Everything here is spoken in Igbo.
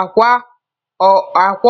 Akwa